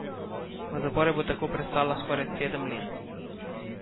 V zaporu bo tako prestala skoraj sedem let.